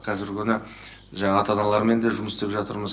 қазіргі күні жаңа ата аналарымен де жұмыс істеп жатырмыз